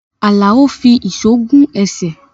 Alao fi èso gún ẹsẹ̀